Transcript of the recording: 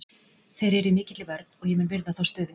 Þeir eru í mikilli vörn og ég mun virða þá stöðu.